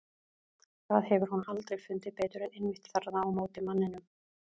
Það hefur hún aldrei fundið betur en einmitt þarna á móti manninum.